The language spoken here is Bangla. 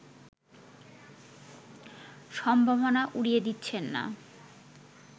সম্ভাবনা উড়িয়ে দিচ্ছেন না